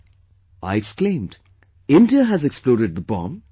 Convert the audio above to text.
" I exclaimed, "India has exploded the bomb